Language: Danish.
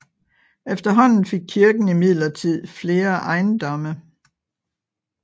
Efterhånden fik kirken imidlertid flere ejendomme